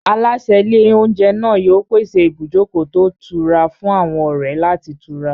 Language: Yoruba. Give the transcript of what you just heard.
Aláṣẹ ilé-oúnjẹ náà yóò pèsè ibùjókòó tó ìtura fún àwọn ọ̀rẹ́ láti tura.